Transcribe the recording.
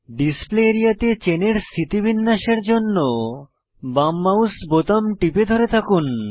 display area তে চেনের স্থিতিবিন্যাসের জন্য বাম মাউস বোতাম টিপে ধরে থাকুন